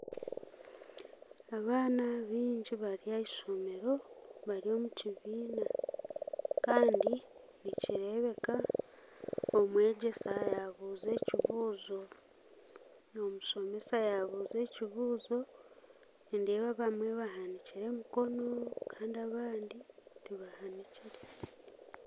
Abaana baingi bari ahaishomero bari omu kibiina Kandi nikireebeka omwegyesa yaabuuza ekibuuzo omushomesa yaabuuza ekibuuzo nindeeba abamwe bahanikire emikono Kandi abandi tibahanikire